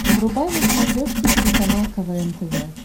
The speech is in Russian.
врубай на смотрешке телеканал квн тв